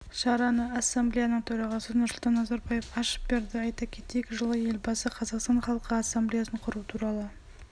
шараны ассамблеяның төрағасы нұрсұлтан назарбаев ашып берді айта кетейік жылы елбасы қазақстан халқы ассамблеясын құру туралы